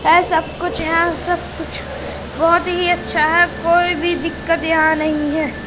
है सब कुछ यहां सब कुछ बहोत ही अच्छा है कोई भी दिक्कत यहां नही है।